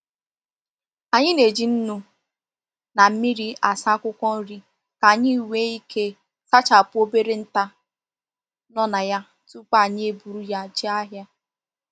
Anyị na eji nnu na mmiri asa akwụkwọ nri ka anyị nwee ike sachapụ obere nta no na ya tupu anyi eburu ya jee ahịa